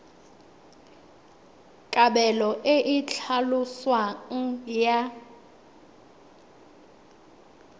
kabelo e e tlhaloswang ya